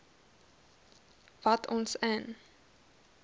wat ons in